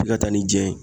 F'i ka taa ni jɛn ye